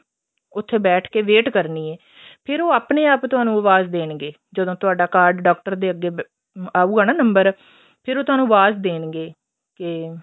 ਉੱਥੇ ਬੈਠ ਕੇ wait ਕਰਨੀ ਏ ਫ਼ਿਰ ਉਹ ਆਪਣੇ ਆਪ ਤੁਹਾਨੂੰ ਆਵਾਜ਼ ਦੇਣਗੇ ਜਦੋਂ ਤੁਹਾਡਾ card ਡਾਕਟਰ ਦੇ ਅੱਗੇ ਅਹ ਆਉਗਾ ਨਾ ਨੰਬਰ ਫ਼ੇਰ ਉਹ ਤੁਹਾਨੂੰ ਆਵਾਜ਼ ਦੇਣਗੇ ਕੇ